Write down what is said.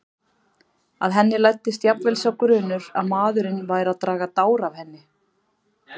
Að henni læddist jafnvel sá grunur að maðurinn væri að draga dár að henni.